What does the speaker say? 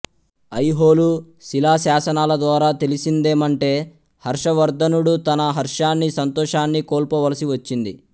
ఐహోలు శిలాశాసనాల ద్వారా తెలిసిందేమంటే హర్షవర్ధనుడు తన హర్షాన్ని సంతోషాన్ని కోల్పోవలసి వచ్చింది